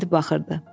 İndi baxırdı.